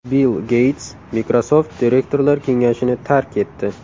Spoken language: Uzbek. Bill Geyts Microsoft direktorlar kengashini tark etdi.